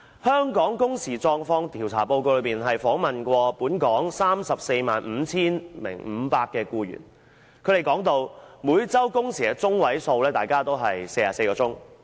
香港工時狀況調查報告指出，有關的調查曾訪問本港 345,500 名僱員，他們表示每周工時的中位數是44小時。